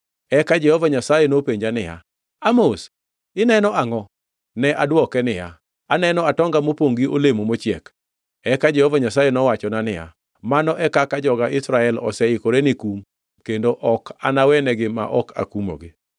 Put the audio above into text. Eka Jehova Nyasaye nopenja niya, “Amos, ineno angʼo?” Ne adwoke niya, “Aneno atonga mopongʼ gi olemo mochiek.” Eka Jehova Nyasaye nowachona niya, “Mano e kaka joga Israel oseikore ni kum kendo ok anawegi ma ok akumogi.”